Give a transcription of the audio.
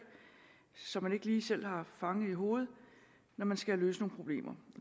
som man ikke lige selv har fanget i hovedet når man skal løse nogle problemer